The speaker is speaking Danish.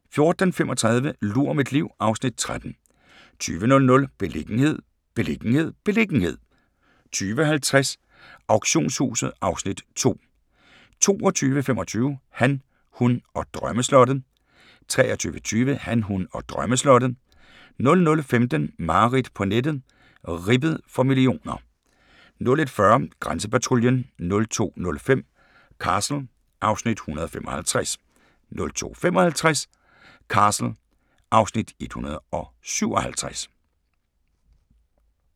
14:35: Lur mit liv (Afs. 13) 20:00: Beliggenhed, beliggenhed, beliggenhed 20:50: Auktionshuset (Afs. 2) 22:25: Han, hun og drømmeslottet 23:20: Han, hun og drømmeslottet 00:15: Mareridt på nettet - ribbet for millioner 01:40: Grænsepatruljen 02:05: Castle (Afs. 155) 02:55: Castle (Afs. 157)